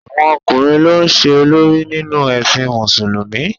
Àwọn ọkùnrin ló ń ṣe olórí nínú ẹ̀sìn Mùsùlùmí